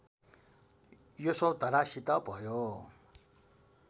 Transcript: यशोधरासित भयो